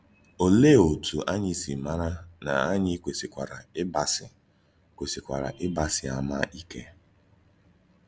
Òlee otú ànyí sị màrà na ànyí kwèsìkwárà ígbàsí kwèsìkwárà ígbàsí àmà ìké?